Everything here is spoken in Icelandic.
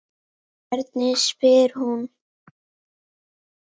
Hvernig spyr hún?